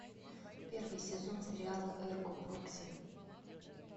первый сезон сериала эрго прокси